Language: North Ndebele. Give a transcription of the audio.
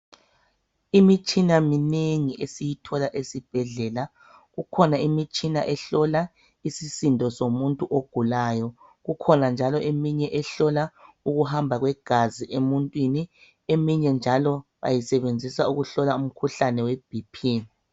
Imitshina minengi esiyithola esibhedlela. Kukhona imitshina ehlola isisindo somuntu ogulayo. Kukhona njalo eminye ehlola ukuhamba kwegazi emuntwini. Eminye njalo bayisebenzisa ukuhlola umkhuhlane we BP.